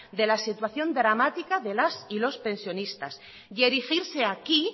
de la situación dramática de las y los pensionistas y erigirse aquí